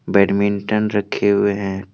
Badminton रखे हुए हैं।